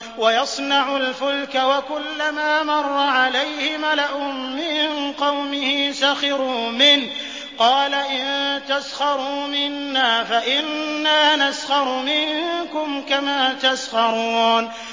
وَيَصْنَعُ الْفُلْكَ وَكُلَّمَا مَرَّ عَلَيْهِ مَلَأٌ مِّن قَوْمِهِ سَخِرُوا مِنْهُ ۚ قَالَ إِن تَسْخَرُوا مِنَّا فَإِنَّا نَسْخَرُ مِنكُمْ كَمَا تَسْخَرُونَ